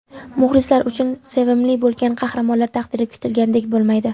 Muxlislar uchun sevimli bo‘lgan qahramonlar taqdiri kutilgandek bo‘lmaydi.